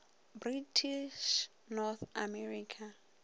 british north america